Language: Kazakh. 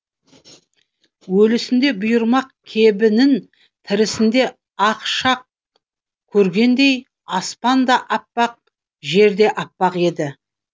өлісінде бұйырмақ кебінін тірісінде ақ шақ көргендей аспан да аппақ жерде аппақ еді